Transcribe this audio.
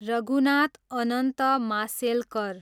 Raghunath Anant Mashelkar